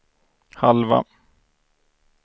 halva